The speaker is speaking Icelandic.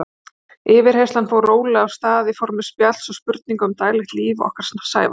Yfirheyrslan fór rólega af stað í formi spjalls og spurninga um daglegt líf okkar Sævars.